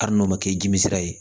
Hali n'o ma kɛ dimisi ye